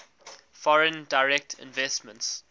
foreign direct investments